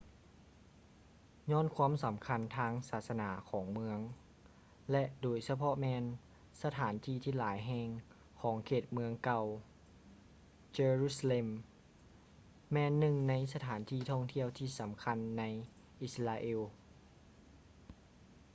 ຍ້ອນຄວາມສຳຄັນທາງສາສະໜາຂອງເມືອງ ແລະ ໂດຍສະເພາະແມ່ນສະຖານທີ່ຫຼາຍແຫ່ງຂອງເຂດເມືອງເກົ່າ jerusalem ແມ່ນໜຶ່ງໃນສະຖານທີ່ທ່ອງທ່ຽວທີ່ສຳຄັນໃນ israel